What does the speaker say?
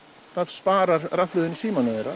sparar rafhlöðu í símanum þeirra